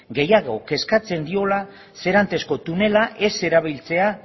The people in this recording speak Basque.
gehiago kezkatzen diola serantesko tunela ez erabiltzea